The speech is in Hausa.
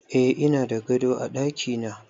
Eh ina da gado a dakina